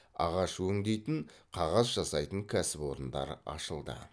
ағаш өңдейтін қағаз жасайтын кәсіпорындар ашылды